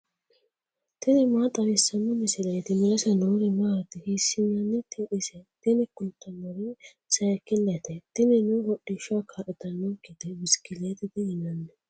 tini maa xawissanno misileeti ? mulese noori maati ? hiissinannite ise ? tini kultannori sayiikilete tinino hodhishshaho kaa'litannonkete bisikilliitete yinanni.